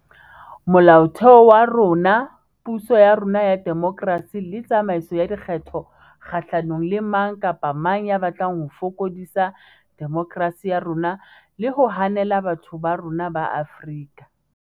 Mola otheo wa rona, puso ya rona ya demokerasi le tsamaiso ya dikgetho kgahlanong le mang kapa mang ya batlang ho fokodisa demokerasi ya rona le ho hanela batho ba rona ba Afrika